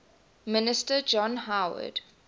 minister john howard